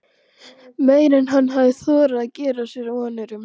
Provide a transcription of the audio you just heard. Meira en hann hafði þorað að gera sér vonir um.